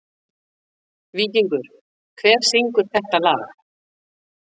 Víkingur, hver syngur þetta lag?